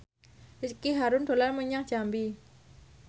Ricky Harun dolan menyang Jambi